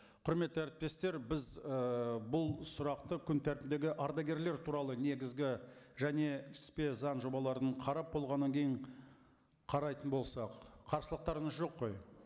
құрметті әріптестер біз ы бұл сұрақты күн тәртібіндегі ардагерлер туралы негізгі және іліспе заң жобаларын қарап болғаннан кейін қарайтын болсақ қарсылықтарыңыз жоқ қой